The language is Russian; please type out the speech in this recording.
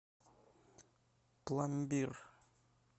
пломбир